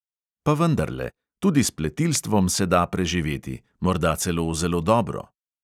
Pa vendarle – tudi s pletilstvom se da preživeti, morda celo zelo dobro.